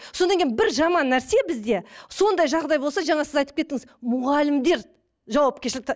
содан кейін бір жаман нәрсе бізде сондай жағдай болса жаңа сіз айтып кеттіңіз мұғалімдер жауапкершілікті